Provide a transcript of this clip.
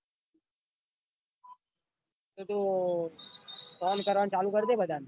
તો phone કરવાનું ચાલુ કરી દે બધા ને.